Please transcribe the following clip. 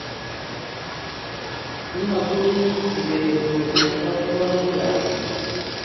ki makchini kibet ko sup katigonet ab jebet